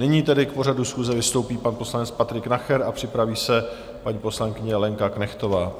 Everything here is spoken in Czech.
Nyní tedy k pořadu schůze vystoupí pan poslanec Patrik Nacher a připraví se paní poslankyně Lenka Knechtová.